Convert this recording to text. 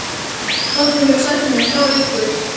Doddi hefur sagt mér frá ykkur.